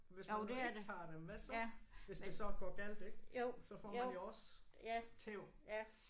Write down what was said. Hvis man nu ikke tager dem hvad så? Hvis det så går galt ik så får man jo også tæv